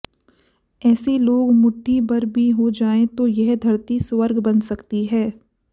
ऐसे लोग मुट्ठी भर भी हो जाएं तो यह धरती स्वर्ग बन सकती है